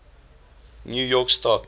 new york stock